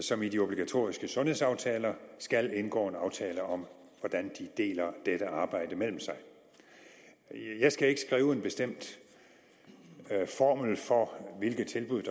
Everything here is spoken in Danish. som i de obligatoriske sundhedsaftaler skal indgå en aftale om hvordan de deler dette arbejde mellem sig jeg skal ikke skrive en bestemt formel for hvilke tilbud